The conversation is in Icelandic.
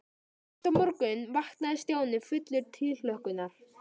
Næsta morgun vaknaði Stjáni fullur tilhlökkunar.